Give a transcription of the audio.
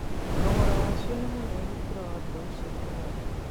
Thogora wacio nĩ mũnene gũkĩra wa mbeũ cia kũhanda